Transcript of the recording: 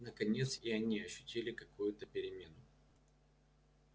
наконец и они ощутили какую-то перемену